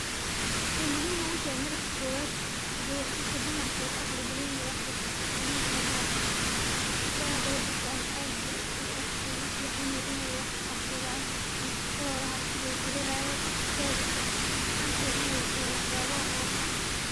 Waxay muhiim ogu tahay marka kobaad, qofka dumarka wuu ka aqli badan yahay wax barto qofka ninka wax barte, gabdhaha haday bartaan na aad bu ugu fican yahay inay wax ku qabsadaan mise shaqadooda haraka way kuhelayaan, teeda kale maxa arkiya inay toho waxyaba oo wanaagsan